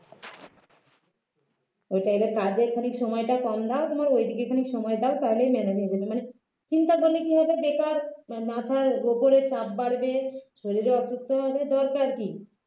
ওইটাই কাজের খানিক সময়টা কম দাও তোমার ঐ দিকে খানিক সময় দাও তাহলেই মেনে নেবে মানে চিন্তা করলে কি হবে বেকার মাথার ওপরে চাপ বাড়বে শরীরে অসুস্থ হবে দরকার কী